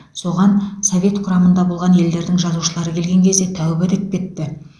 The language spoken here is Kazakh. соған совет құрамында болған елдердің жазушылары келген кезде тәубә деп кетті